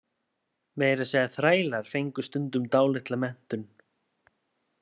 Meira að segja þrælar fengu stundum dálitla menntun.